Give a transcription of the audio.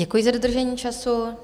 Děkuji za dodržení času.